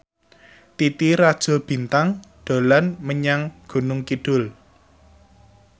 Titi Rajo Bintang dolan menyang Gunung Kidul